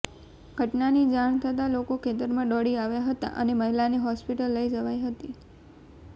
ઘટનાની જાણ થતાં લોકો ખેતરમાં દોડી આવ્યા હતા અને મહિલાને હોસ્પિટલ લઇ જવાઇ હતી